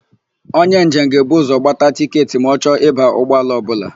Onye njem ga-ebu ụzọ gbata tịketị ma ọ chọ ịba ụgbọala ọbụla.